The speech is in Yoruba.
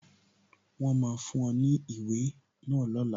Wọn máa fún ọ ní ìwé náà lọ́la